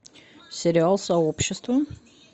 сериал сообщество